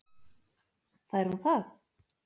Fær hún það?